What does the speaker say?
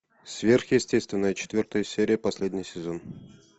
сверхъестественное четвертая серия последний сезон